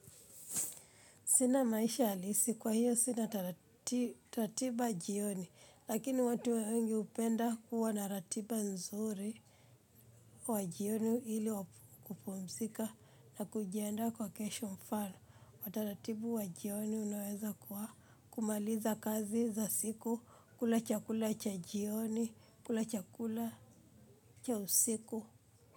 Sina maisha halisi kwa hiyo sina ratiba jioni lakini watu wengi hupenda kuwa na ratiba nzuri wa jioni ili kupumzika na kujiendaa kwa kesho. Mfano wa taratibu wa jioni unaweza kuwa kumaliza kazi za siku, kula chakula cha jioni, kula chakula cha usiku.